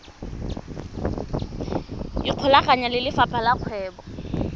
ikgolaganye le lefapha la kgwebo